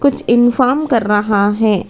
कुछ इन्फॉर्म कर रहा है।